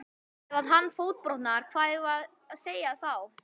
Ef að hann fótbrotnar hvað eigum við þá að segja?